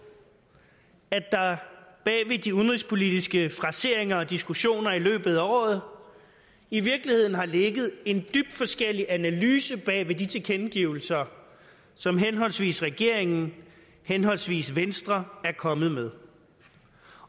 at der bag ved de udenrigspolitiske fraseringer og diskussioner i løbet af året i virkeligheden har ligget dybt forskellige analyser bag ved de tilkendegivelser som henholdsvis regeringen henholdsvis venstre er kommet med